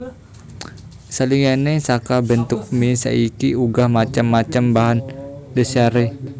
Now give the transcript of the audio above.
Saliyane saka bentuk mie saiki uga macem macem bahan dhasaré